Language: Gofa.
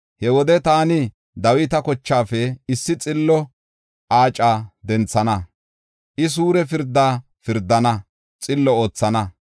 He wode taani Dawita kochaafe issi xillo Aaca denthana; I suure pirda pirdana; xillo oothana.